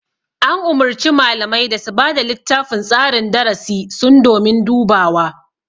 An umurci malamai da su bada littafin tsarin darasi sun domin dubawa